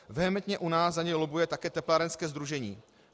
Vehementně u nás za ně lobbuje také Teplárenské sdružení.